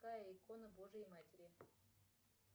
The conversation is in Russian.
какая икона божьей матери